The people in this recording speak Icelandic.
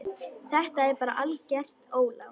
Þetta er bara algert ólán.